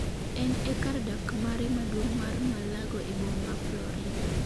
En e kar dak mare maduong' mar Mar-a-Lago e boma ma Florida.